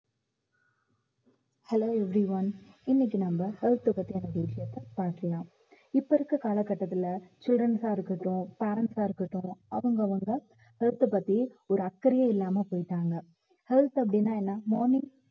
hello everyone இன்னைக்கு நம்ம health அ பத்தியான விஷயத்த பார்க்கலாம் இப்ப இருக்குற கால கட்டத்துல students ஆ இருக்கட்டும் parents ஆ இருக்கட்டும் அவங்கவங்க health அ பத்தி ஒரு அக்கறையே இல்லாம போயிட்டாங்க health அப்படின்னா என்ன morning